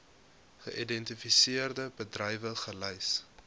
geïdentifiseerde bedrywe gelys